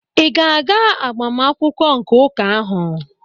Ị ga-aga agbamakwụkwọ nke ụka ahụ?